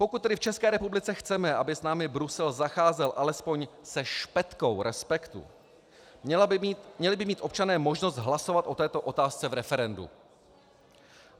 Pokud tedy v České republice chceme, aby s námi Brusel zacházel alespoň se špetkou respektu, měli by mít občané možnost hlasovat o této otázce v referendu.